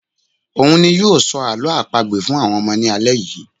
òun ni yóò ṣọ àwọn àlọ́ àpagbè fún àwọn ọmọ ní alẹ́ yìí